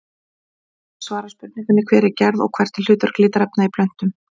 Hér er einnig svarað spurningunni Hver er gerð og hvert er hlutverk litarefna í plöntum?